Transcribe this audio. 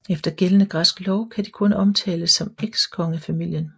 Efter gældende græsk lov kan de kun omtales som ekskongefamilien